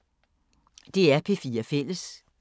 DR P4 Fælles